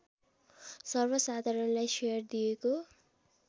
सर्वसाधारणलाई share दिएको